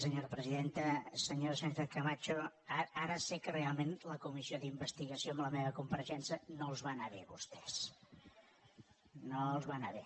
senyora sánchez camacho ara sé que realment la comissió d’investigació amb la meva compareixença no els va anar bé a vostès no els va anar bé